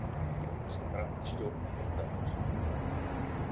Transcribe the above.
Bjóða sig fram í stjórn Heimdallar